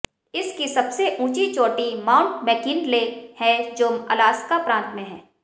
इस की सबसे उँची चोटी माउन्ट मैकिन्ले है जो अलास्का प्रान्त में है